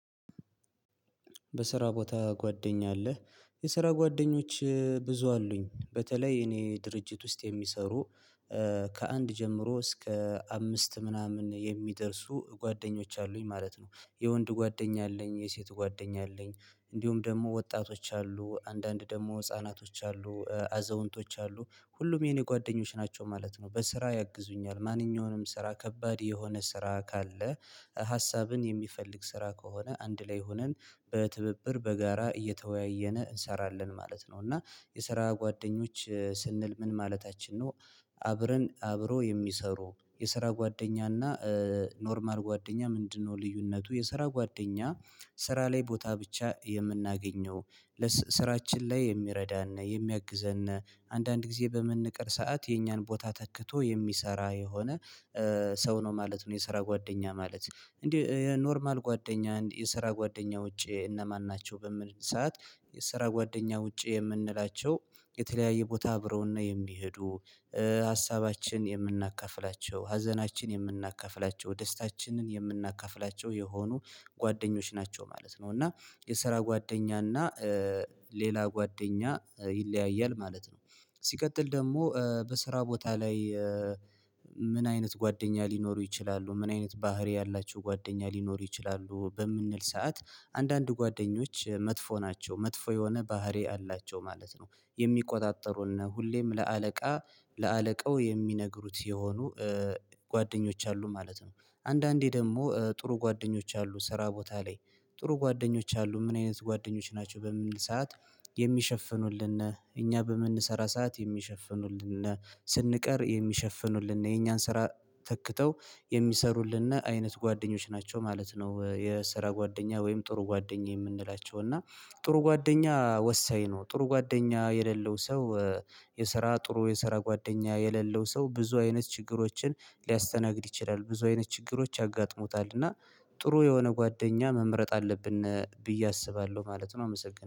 በስራ ቦታ ጓደኛ አለ የስራ ጓደኞች ብዙ አሉኝ በተለይ እኔ ድርጅት ውስጥ የሚሰሩ ከአንድ ጀምሮ እስከ አምስት ምናምን የሚደርሱ ጓደኞች አሉኝ ማለት ነው። የወንድ ጓደኛ አለኝ የሴት ጓደኛ አለኝ። እንዲሁም ደግሞ ወጣቶች አሉ አንዳንድ ደግሞ ህፃናቶች አሉ አዘውንቶች አሉ ሁሉም የኔ ጓደኞች ናቸው ማለት ነው። በስራ ያግዙኛል ማንኛውንም ስራ ከባድ የሆነ ስራ ካለ ሀሳብን የሚፈልግ ስራ ከሆነ አንድ ላይ ሆነን በትብብር በጋራ እየተወያየን እንሰራለን ማለት ነው። እና የስራ ጓደኞች ስንል ምን ማለታችን ነው? አብረን አብሮ የሚሰሩ የስራ ጓደኛና ኖርማል ጓደኛ ምንድነው? ልዩነቱ የስራ ጓደኛ ስራ ላይ ቦታ ብቻ የምናገኘው። ስራችን ላይ የሚረዳን የሚያግዘን አንዳንድ ጊዜ በመንቀር ሰዓት የእኛን ቦታ ተክቶ የሚሰራ የሆነ ሰው ነው ማለት ነው። የስራ ጓደኛ ማለት እንዴ? ኖርማል ጓደኛ የስራ ጓደኛ ውጪ እነማን ናቸው በምን ሰዓት? የስራ ጓደኛ ውጪ የምንላቸው የተለያየ ቦታ አብረውን ነው የሚሄዱ። ሀሳባችን የምናካፍላቸው ሀዘናችን የምናካፍላቸው ደስታችንን የምናካፍላቸው የሆኑ ጓደኞች ናቸው ማለት ነው። እና የስራ ጓደኛ እና ሌላ ጓደኛ ይለያያል ማለት ነው። ሲቀጥል ደግሞ በስራ ቦታ ላይ። ምን አይነት ጓደኛ ሊኖሩ ይችላሉ ምን አይነት ባህሪ ያላቸው ጓደኛ ሊኖሩ ይችላሉ? በምንል ሰዓት አንዳንድ ጓደኞች መጥፎ ናቸው መጥፎ የሆነ ባህሪ አላቸው ማለት ነው። የሚቆጣጠሩን ሁሌም ለአለቃ ለአለቃው የሚነግሩት የሆኑ ጓደኞች አሉ ማለት ነው። አንዳንዴ ደግሞ ጥሩ ጓደኞች አሉ ስራ ቦታ ላይ። ጥሩ ጓደኞች አሉ ምን አይነት ጓደኞች ናቸው በምን ሰዓት? የሚሸፍኑልን እኛ በምንሰራ ሰዓት የሚሸፍኑልን ስንቀር የሚሸፍኑልን የኛን ስራ ተክተው የሚሰሩልንና አይነት ጓደኞች ናቸው ማለት ነው። የስራ ጓደኛ ወይም ጥሩ ጓደኛ የምንላቸው እና ጥሩ ጓደኛ ወሳኝ ነው። ጥሩ ጓደኛ የሌለው ሰው የስራ ጥሩ የስራ ጓደኛ የሌለው ሰው ብዙ አይነት ችግሮችን ሊያስተናግድ ይችላል። ብዙ አይነት ችግሮች ያጋጥሙታል። እና ጥሩ የሆነ ጓደኛ መምረጥ አለብን ብዬ አስባለሁ ማለት ነው አመሰግናለሁ